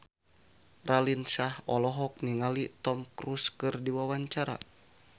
Raline Shah olohok ningali Tom Cruise keur diwawancara